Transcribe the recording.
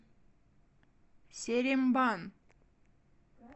серембан